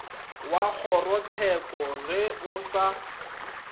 wa kgorotsheko ge o sa